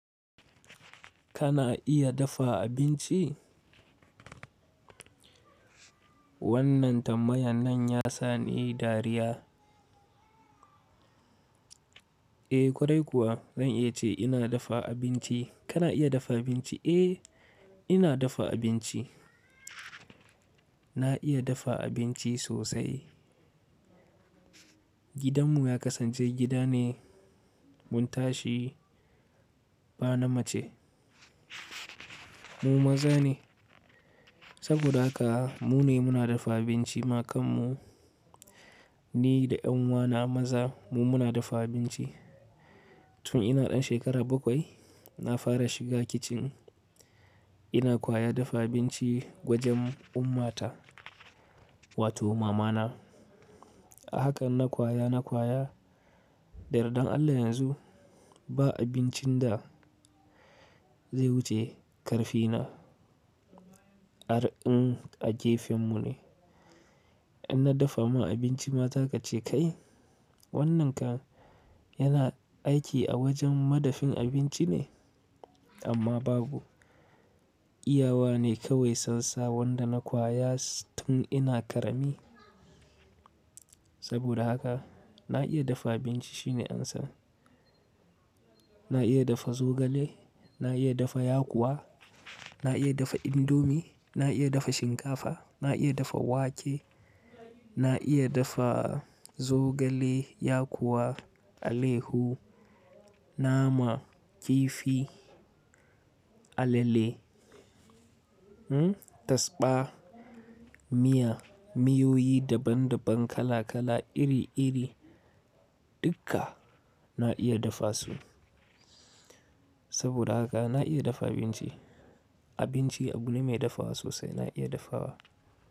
Kana iya dafa abinci? Wannan ta mayanan ya sa ni dariya. E kwarai kuwa zan iya ce ina dafa abinci. Kana iya dafa abinci? Eh ina dafa abinci. Na iya dafa abinci sosai. Gidanmu ya kasance gida ne muntashi bana mace. Mu maza ne. Saboda haka mu ne muna dafa abinci ma kanmu. Ni da ƴan uwana maza mu muna dafa abinci. Tun ina ɗan shekara bakwai na fara shiga kicin ina kwaya dafa abinci gwajen ummata wato mamana. A hakan na kwaya, na kwaya, da yardan Allah yanzu ba abincin da zai wuce ƙarfina. Arin a gefenmu ne. In na dafa ma abinci mata ka ce kai wannan kan yana aiki a wajen madafin abinci ne? Amma babu. Iyawa ne kawai sansam wan da na kwaya tun ina ƙarami. Saboda haka na iya dafa abinci shine ansan. Na iya dafa zogale, na iya dafa yakuwa, na iya dafa indomie, na iya dafa shinkafa, na iya dafa wake, na iya dafa zogale yakuwa, alehu, nama, kifi, alale, hmm tasba, miya, miyoyi daban daban kala kala iri iri dukka na iya dafa su. Saboda haka na iya dafa abinci. Abinci abu ne mai dafawa sosai na iya dafawa.